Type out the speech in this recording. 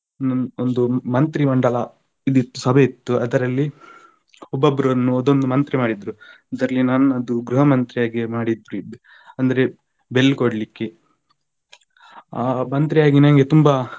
ಒಂದು ಮಂತ್ರಿ ಮಂಡಲ ಇದು ಇತ್ತು ಸಭೆ ಇತ್ತು ಅದರಲ್ಲಿ ಒಬ್ಬೊಬ್ಬರನ್ನು ಒಂದೊಂದು ಮಂತ್ರಿ ಮಾಡಿದ್ರು ಅದರಲ್ಲಿ ನನ್ನದು ಗ್ರಹಮಂತ್ರಿ ಆಗಿ ಮಾಡಿದ್ರು ಅಂದ್ರೆ bell ಕೊಡ್ಲಿಕ್ಕೆ ಆ ಮಂತ್ರಿಯಾಗಿ ನನಗೆ ತುಂಬಾ